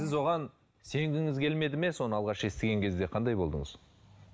сіз оған сенгіңіз келмеді ме соны алғаш естіген кезде қандай болдыңыз